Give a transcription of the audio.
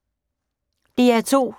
DR2